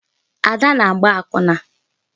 Ada na-agba akwụna